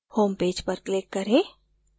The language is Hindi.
home पेज पर click करें